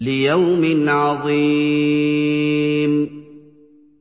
لِيَوْمٍ عَظِيمٍ